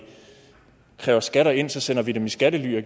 kræver skatter ind sender dem i skattely og